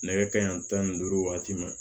Nɛgɛ kanɲɛ tan ni duuru waati ma